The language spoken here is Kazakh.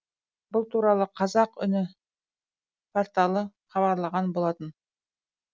бұл туралы қазақ үні порталы хабарлаған болатын